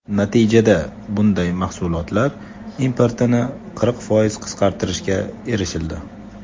Natijada bunday mahsulotlar importini qirq foiz qisqartirishga erishildi.